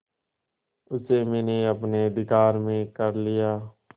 उसे मैंने अपने अधिकार में कर लिया